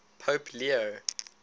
pope leo